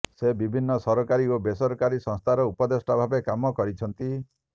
ସେ ବିଭିନ୍ନ ସରକାରୀ ଓ ବେସରକାରୀ ସଂସ୍ଥାର ଉପଦେଷ୍ଟା ଭାବେ କାମ କରିଛନ୍ତି